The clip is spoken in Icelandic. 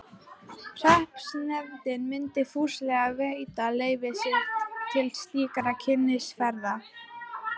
Hreppsnefndin myndi fúslega veita leyfi sitt til slíkrar kynnisferðar.